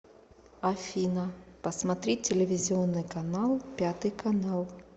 афина посмотреть телевизионный канал пятый канал